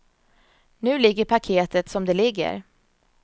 Nu ligger paketet som det ligger.